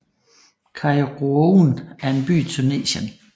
Kairouan er en by i Tunesien